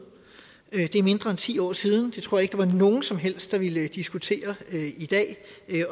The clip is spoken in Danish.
det er mindre end ti år siden jeg tror ikke var nogen som helst der ville diskutere